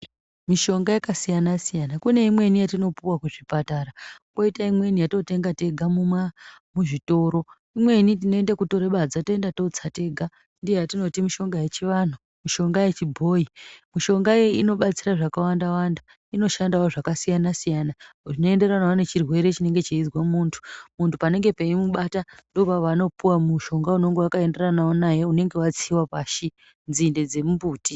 Mushonga yakasiyana siyana kuneimweni yatinopuwa kuzvipatara kwoita imweni yatinotenga tega muzvitoro imweni tinotora badza toenda totsa tega ndiyo yatinoti mushonga wechivanhu mushonga wechibhoyi mishonga inobatsira zvakawanda inoshandiswawo zvakasiyana siyana zvichienderanawo nechirwere chinenge cheizwa munhu munhu paanengepeimubata ndipopaanopuwa mushonga unenge wakaenderana naye unenge wakatsiwa pashi nzinde dzemumbuti